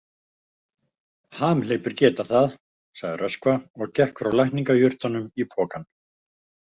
Hamhleypur geta það, sagði Röskva og gekk frá lækningajurtunum í pokann.